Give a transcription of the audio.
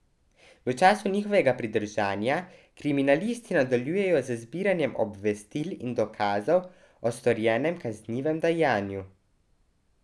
V času njihovega pridržanja kriminalisti nadaljujejo z zbiranjem obvestil in dokazov o storjenem kaznivem dejanju.